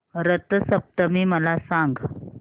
रथ सप्तमी मला सांग